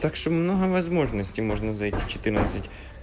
так что много возможностей можно зайти четырнадцать